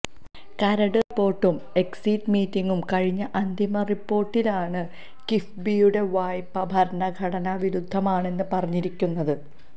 കരട് റിപ്പോര്ട്ടും എക്സിറ്റ് മീറ്റിംഗും കഴിഞ്ഞ അന്തിമ റിപ്പോര്ട്ടിലാണ് കിഫ്ബിയുടെ വായ്പ ഭരണഘടനാ വിരുദ്ധമാണെന്ന് പറഞ്ഞിരിക്കുന്നത്